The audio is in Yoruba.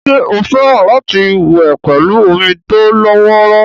ṣé ó fẹ́ràn láti wẹ̀ pẹ̀lú omi tó lọ́wọ́rọ́